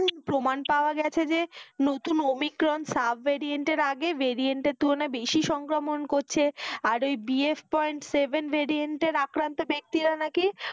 প্রমান পাওয়া গেছে যে নতুন ওমিক্রন Subvariant এর আগে variant এর তুলনায় বেশি সংক্রমণ করছে আর ওই BF point seven variant এর আক্রান্ত ব্যাক্তিরা নাকি ওই,